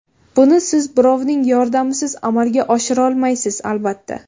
Buni siz birovning yordamisiz amalga oshirolmaysiz albatta.